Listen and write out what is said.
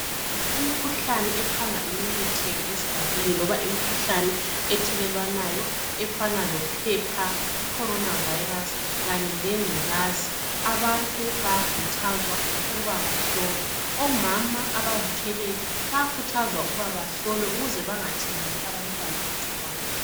imikhuhlane ephanga imemetheke esigabeni loba imikhuhlane ethelelwanayo efanana lo phepha loba i Corona Virus kanye lenculazi abantu bayakhuthazwa ukuba bahlolwe omama abzithweleyo bayakhuthazwa ukuba bahlolwe ukuze bengatheleli abantwana igcikwane